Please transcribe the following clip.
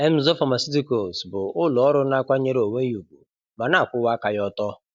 Emzor Pharmaceuticalscs] bụ ụlọ ọrụ na-akwanyere onwe ya ùgwù ma na-akwụwa aka ya ọ̀tọ́.